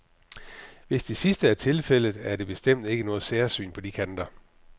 Hvis det sidste er tilfældet, er det bestemt ikke noget særsyn på de kanter.